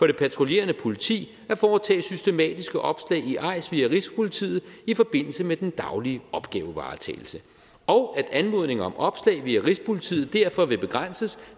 det patruljerende politi at foretage systematiske opslag i eis via rigspolitiet i forbindelse med den daglige opgavevaretagelse og at anmodninger om opslag via rigspolitiet derfor vil begrænses